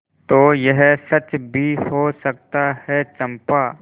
तो यह सच भी हो सकता है चंपा